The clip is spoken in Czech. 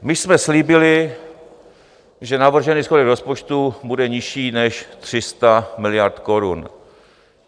My jsme slíbili, že navržený schodek rozpočtu bude nižší než 300 miliard korun.